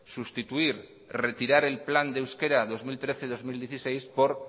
sustituir o retirar el plan de euskera dos mil trece dos mil dieciséis por